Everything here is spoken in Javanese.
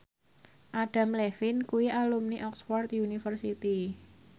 Adam Levine kuwi alumni Oxford university